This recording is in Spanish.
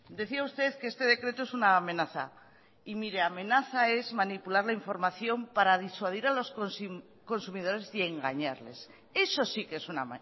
decía usted que este decreto es una amenaza y mire amenaza es manipular la información para disuadir a los consumidores y engañarles eso sí que es una